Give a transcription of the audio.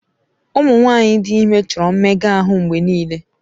Ụmụ nwanyị dị ime chọrọ mmega ahụ mgbe niile.